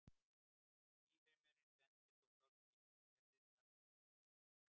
Lífheimurinn sendir svo frá sér ýmsar gerðir jarðneskrar geislunar.